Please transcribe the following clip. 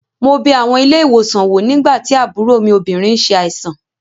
Mo bẹ àwọn ilé-ìwòsàn wò nígbà tí àbúrò mi obìnrin n ṣe àìsàn